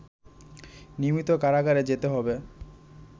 নিয়মিত কারাগারে যেতে হবে